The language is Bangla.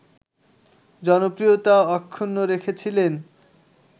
জনপ্রিয়তা অক্ষুণ্ন রেখেছিলেন